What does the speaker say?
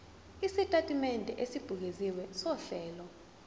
isitatimende esibukeziwe sohlelo